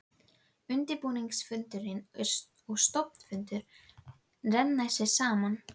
Undirbúningsfundur og stofnfundur renna hér saman.